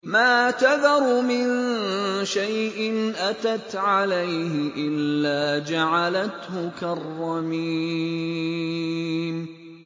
مَا تَذَرُ مِن شَيْءٍ أَتَتْ عَلَيْهِ إِلَّا جَعَلَتْهُ كَالرَّمِيمِ